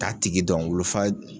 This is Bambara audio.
T'a tigi dɔn wolofa